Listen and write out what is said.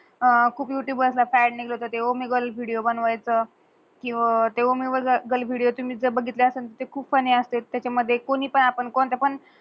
खूप युटूब वर ट्रेंडिंग हुत ते Omegle वर विडियो बनवायचं कि वर Omegle विडियो तुम्ही जर बगितल असेल ते खूप फन्नी अस्तात. त्यचा मधे कोणी तर आपण कोणत